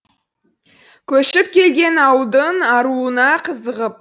көшіп келген ауылдың аруына қызығып